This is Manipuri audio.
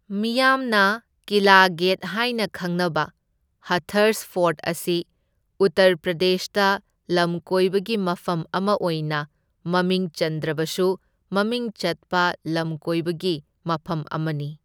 ꯃꯤꯌꯥꯝꯅ ꯀꯤꯂꯥ ꯒꯦꯠ ꯍꯥꯏꯅ ꯈꯪꯅꯕ ꯍꯊꯔꯁ ꯐꯣꯔꯠ ꯑꯁꯤ ꯎꯠꯇꯔ ꯄ꯭ꯔꯗꯦꯁꯇ ꯂꯝꯀꯣꯏꯕꯒꯤ ꯃꯐꯝ ꯑꯃ ꯑꯣꯏꯅ ꯃꯃꯤꯡ ꯆꯟꯗ꯭ꯔꯕꯁꯨ ꯃꯃꯤꯡ ꯆꯠꯄ ꯂꯝꯀꯣꯏꯕꯒꯤ ꯃꯐꯝ ꯑꯃꯅꯤ꯫